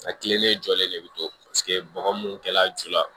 A tilelen jɔlen de bɛ to paseke bɔgɔ mun kɛla ju la